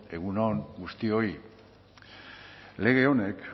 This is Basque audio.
egun on guztioi lege honek